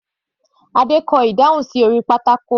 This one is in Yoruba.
Adé kọ ìdáhùn sí orí pátákó.